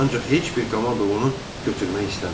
Ancaq heç bir komanda onu götürmək istəmirdi.